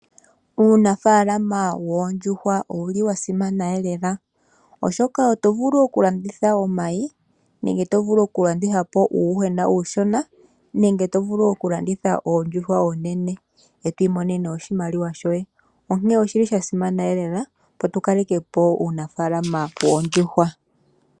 Uunafalama woondjuhwa ouli wa simana lela oshoka oto vulu okulanditha omayi nenge to vulu okulandithapo uuyuhwena uushona nenge to vulu okulanditha oondjuhwa oonene eto imonene oshimaliwa shoye. Onkene oshi li shasimana lela opo tukalekepo uunafaalama woondjuhwa.